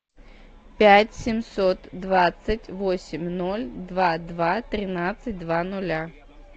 пять семьсот двадцать восемь ноль два два тринадцать два ноля